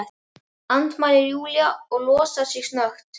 andmælir Júlía og losar sig snöggt.